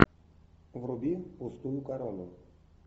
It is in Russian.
вруби пустую корону